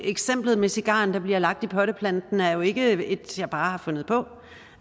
eksemplet med cigaren der bliver lagt i potteplanten er jo ikke et jeg bare har fundet på